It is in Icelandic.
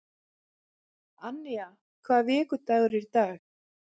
Annía, hvaða vikudagur er í dag?